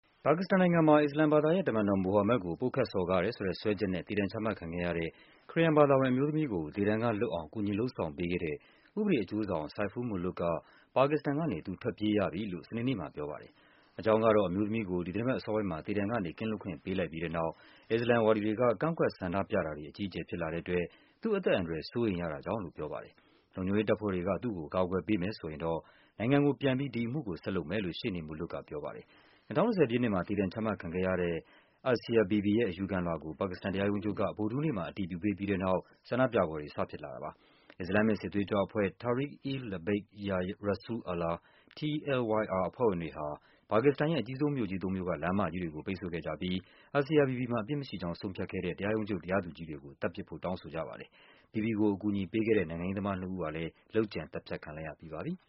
ပါကစ္စတန်နိုင်ငံမှာ အစ္စလာမ်ဘာသာရဲ့ တမန်တော်မိုဟာမက်ဒ်ကို ပုတ်ခတ်စော်ကားတယ်ဆိုတဲ့ စွဲချက်နဲ့ သေဒဏ်ချမှတ်ခံခဲ့ရ တဲ့ ခရစ်ယာန်ဘာသာဝင်အမျိုးသမီးကို သေဒဏ်ကလွတ်အောင် ကူညီလုပ်ဆောင်ပေးခဲ့တဲ့ ဥပဒေအကျိုးဆောင် Saiful Mulook ပါကစ္စတန်ကနေ သူ ထွက်ပြေး ရပြီလို့ စနေနေ့မှာပြောပါတယ်။ အကြောင်းကတော့ အမျိုးသမီးကို ဒီသီတင်းပတ်အစောပိုင်းမှာ သေဒဏ်ကနေ ကင်းလွတ်ခွင့် ပေးလိုက်ပြီးတဲ့နောက် အစ္စလာမ် ဝါဒီတွေက ကန့်ကွက်ဆန္ဒပြတာတွေ အကြီးအကျုယ်ဖြစ် လာတဲ့ အတွက် သူ့အသက်အန္တရာယ် စိုးရိမ်ရတာကြောင့်လို့ ပြောပါ တယ်။ လုံခြုံရေးတပ်ဖွဲ့တွေက သူ့ကို အကာအကွယ်ပေးမယ်ဆိုရင်တော့ နိုင်ငံကိုပြန်ပြီး ဒီအမှုကို ဆက်လုပ်မယ်လို့ ရှေ့နေ Mulook ကပြောပါတယ်။ ၂၀၁၀ ပြည့်နှစ်မှာ သေဒဏ်ချမှတ်ခံခဲ့ရတဲ့ Asia Bibi ရဲ့ အယူခံလွှာကို ပါကစ္စတန်တရားရုံးချုပ်က ဗုဒ္ဓဟူးနေ့မှာ အတည်ပြုပေးပြီး တဲ့နောက် ဆန္ဒပြပွဲတွေ စဖြစ်လာတာပါ။ အစ္စလာမ်မစ် စစ်သွေးကြွအဖွဲ့ Tehreek e-Labbaik ya Rasool Allah (TLYR) အဖွဲ့ဝင်တွေဟာ ပါကစ္စတန်ရဲ့ အကြီးဆုံးမြို့ကြီး သုံးမြို့က လမ်းမကြီးတွေကို ပိတ်ဆို့ခဲ့ကြပြီး Asia Bibi မှာ အပြစ် မရှိကြောင်း ဆုံးဖြတ်ခဲ့တဲ့ တရားရုံးချုပ် တရားသူကြီးတွေကို သတ်ပစ်ဖို့ တောင်းဆိုကြပါတယ်။ Bibi ကို အကူအညီပေးခဲ့တဲ့ နိုင်ငံရေးသမားနှစ်ဦးဟာလည်း လုပ်ကြံ သတ်ဖြတ်ခံလိုက်ရပြီးပါပြီ။